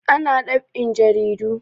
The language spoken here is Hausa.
Ana dab'in jaridu